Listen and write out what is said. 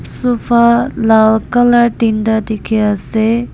sofa lal colour tinta dekhi ase.